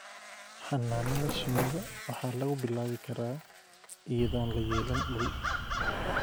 Xannaanada shinnida waxaa lagu bilaabi karaa iyadoon la yeelan dhul.